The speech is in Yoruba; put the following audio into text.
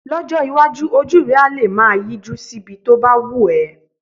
Lọ́jọ́ iwájú, ojú rẹ á lè máa yíjú síbi tó bá wù ẹ́